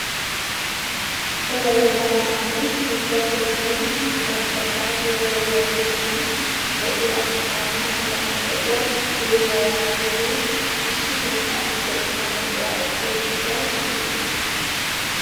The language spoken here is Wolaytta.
Cora yelaga naati ubbatoo biidi bantta saatiyaa woriyoo keettaan de'iyaa maata meraara de'iyaa puuliyaa yaagiyogee issito ka'ikko tammu biraa ekkiyoo gishshawu iites!